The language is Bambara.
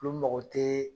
Olu mago tɛ